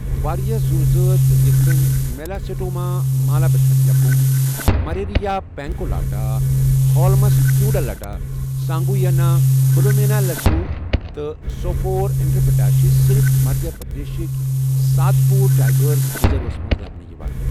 واریٛاہ زوزٲژ یِتھ کٔنۍ میلاسٹوما مالابتھریکم، مرریا پینکولاٹا، ہولمسکیولڈیا سانگوئینا، بلومیا لینسیولریا، تہٕ سوفورا انٹرپٹا چھِ صرف مدھیہ پردیشٕکۍ سات پوٗر ٹائیگر ریزرورَس منٛز لَبنہٕ یِوان۔